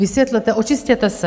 Vysvětlete, očistěte se.